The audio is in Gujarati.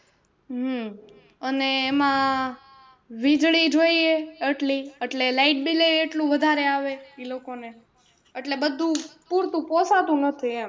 હમ અને એમાં વીજળી જોઈએ અટલી એટલે lightbill એ એટલું વધારે આવે ઈ લોકો ને એટલે બધું પૂરતું પોસાતું નથી એમ.